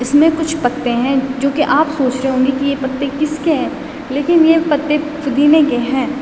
इसमें कुछ पत्ते हैं जोकि आप सोचरे होंगे की ये पत्ते किसके हैं लेकिन ये पत्ते पुदीने के हैं।